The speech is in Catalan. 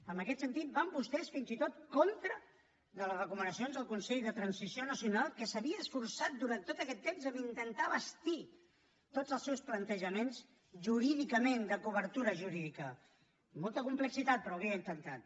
en aquest sentit van vostès fins i tot contra les recomanacions del consell per a la transició nacional que s’havia esforçat durant tot aquest temps a intentar bastir tots els seus plantejaments jurídicament de cobertura jurídica amb molta complexitat però ho havia intentat